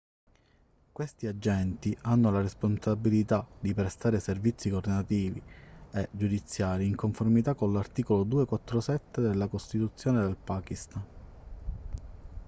questi agenti hanno la responsabilità di prestare servizi governativi e giudiziari in conformità con l'articolo 247 della costituzione del pakistan